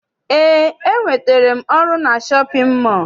Eé, enwetere m ọrụ na shọpịn mọọ.